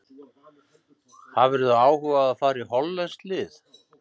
Hefðirðu áhuga á að fara í hollenskt lið?